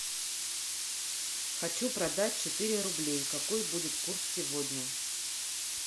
хочу продать четыре рубля какой будет курс сегодня